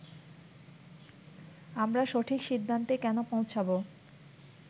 আমরা সঠিক সিদ্ধান্তে কেন পৌঁছাব